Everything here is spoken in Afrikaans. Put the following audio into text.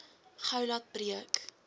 gou laat breek